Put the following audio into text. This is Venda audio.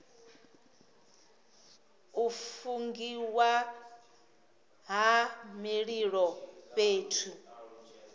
u fungiwa ha mililo fhethu